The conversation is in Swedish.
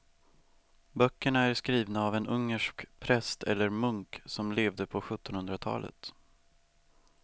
Böckerna är skrivna av en ungersk präst eller munk som levde på sjuttonhundratalet.